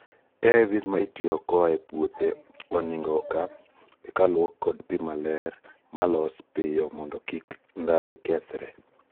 AIVs ma itio koa e puodho oningo oka eka luok kod pii maler ma losi pio mondo kiki ndhathe kethre